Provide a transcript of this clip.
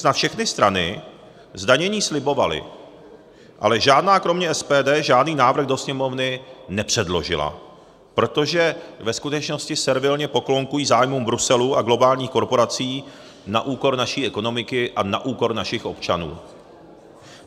Snad všechny strany zdanění slibovaly, ale žádná kromě SPD žádný návrh do Sněmovny nepředložila, protože ve skutečnosti servilně poklonkují zájmům Bruselu a globálních korporací na úkor naší ekonomiky a na úkor našich občanů.